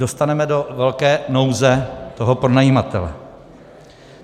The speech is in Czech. Dostaneme do velké nouze toho pronajímatele.